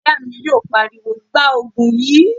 Ìyá mi yóò pariwo, 'Gbaa Ògùn yìí!'